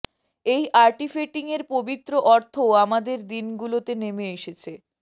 এই আর্টিফ্যাটিং এর পবিত্র অর্থ আমাদের দিনগুলোতে নেমে এসেছে